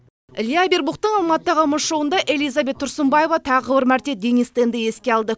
илья авербухтың алматыдағы мұз шоуында элизабет тұрсынбаева тағы бір мәрте денис тенді еске алды